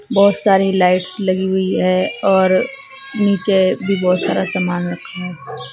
बहोत सारी लाइट्स लगी हुई है और नीचे भी बहुत सारा सामान रखा है।